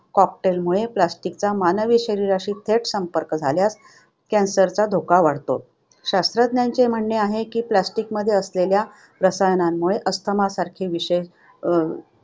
Cocktail मुळे, plastic चा मानवी शरीराशी थेट संपर्क झाल्यास कर्करोगासारख्या आजारांचा धोका वाढतो. शास्त्रज्ञांचे म्हणणे आहे की plastic मध्ये असलेल्या रसायनांमुळे अस्थमासारखे विषय अं